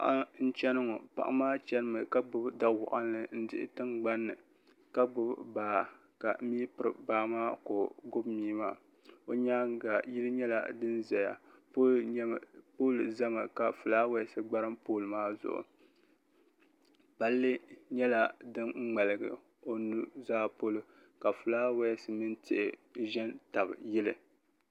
paɣa n-chani ŋɔ paɣa maa chani mi ka gbubi da' waɣinli n-dihi tiŋgbani ni ka gbubi baa ka mia piri baa maa ka o gbubi mia maa o nyaaga yili nyɛla din ʒeya pooli zami ka fulaawasi gbarim pooli maa zuɣu palli nyɛla din ŋmaligi o nuu zaa polo ka fulaawasi mini tihi ʒe n-tabi yili.